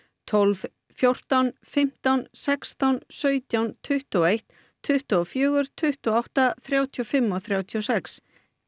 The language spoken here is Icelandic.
tólf fjórtán fimmtán sextán sautján tuttugu og eitt tuttugu og fjögur tuttugu og átta þrjátíu og fimm og þrjátíu og sex